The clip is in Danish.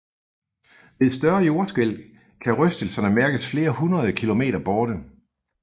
Ved større jordskælv kan rystelserne mærkes flere hundrede kilometer borte